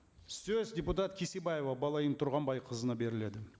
сөз депутат кесебаева балайым тұрғанбайқызына беріледі